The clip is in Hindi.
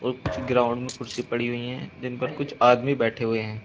कुछ ग्राउंड में कुर्सी पड़ी हुई है जिन पर कुछ आदमी बैठे हुए हैं।